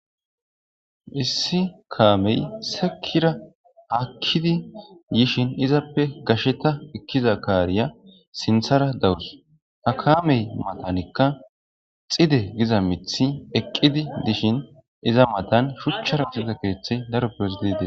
issi kaamey sekira haakkidi yishin izappe gasheta ekkiza kaariya sinthara daurus akaamey matanikka xide giza mithi eqqidi dishin iza matan shuchchara xide keeththey daro peosidide